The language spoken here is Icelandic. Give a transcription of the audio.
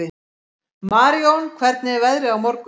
Marijón, hvernig er veðrið á morgun?